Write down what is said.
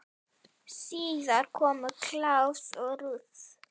Síðar komu Claus og Ruth.